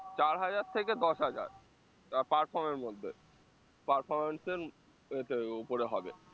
চার হাজার থেকে দশ হাজার এবার perform এর মধ্যে performance এর উম এতে ওপরে হবে